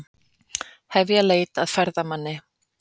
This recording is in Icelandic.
Hefja leit að ferðamanni